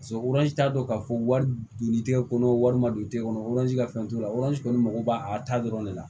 t'a dɔn k'a fɔ wari don litikɛ kɔnɔ wari ma don kɔnɔ ka fɛn t'o la kɔni mago b'a a ta dɔrɔn de la